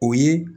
O ye